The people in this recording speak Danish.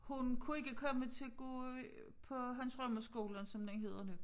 Hun kunne ikke komme til at gå i på Hans Rømer Skolen som den hedder nu